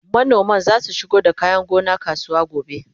manoman zasu shigo da kayan gona kasuwa gobe